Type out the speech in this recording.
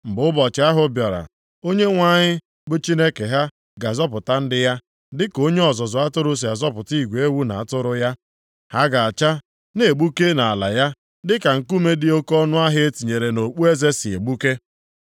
Mgbe ụbọchị ahụ bịara, Onyenwe anyị bụ Chineke ha ga-azọpụta ndị ya, dịka onye ọzụzụ atụrụ si azọpụta igwe ewu na atụrụ ya. Ha ga-acha, na-egbuke nʼala ya, dịka nkume dị oke ọnụahịa e tinyere nʼokpueze si na-egbuke.